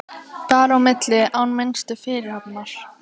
Bar á milli án minnstu fyrirhafnar.